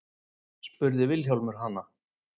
spurði Vilhjálmur hana.